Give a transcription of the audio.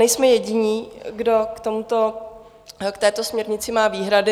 Nejsme jediní, kdo k této směrnici má výhrady.